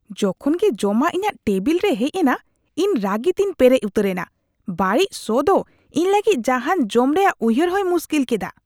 ᱡᱚᱠᱷᱚᱱ ᱜᱮ ᱡᱚᱢᱟᱜ ᱤᱧᱟᱹᱜ ᱴᱮᱵᱤᱞ ᱨᱮ ᱦᱮᱡ ᱮᱱᱟ, ᱤᱧ ᱨᱟᱹᱜᱤᱛᱮᱧ ᱯᱮᱨᱮᱡ ᱩᱛᱟᱹᱨᱮᱱᱟ ᱾ ᱵᱟᱹᱲᱤᱡ ᱥᱚ ᱫᱚ ᱤᱧ ᱞᱟᱹᱜᱤᱫ ᱡᱟᱦᱟᱱ ᱡᱚᱢ ᱨᱮᱭᱟᱜ ᱩᱭᱦᱟᱹᱨ ᱦᱚᱭ ᱢᱩᱥᱠᱤᱞ ᱠᱮᱫᱟ ᱾